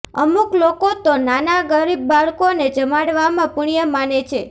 અમુક લોકો તો નાના ગરીબ બાળકોને જમાડવામાં પુણ્ય માને છે